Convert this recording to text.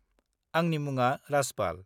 -आंनि मुङा राजपाल।